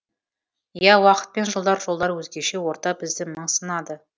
иә уақыт пен жылдар жолдар өзгеше орта бізді мың сынады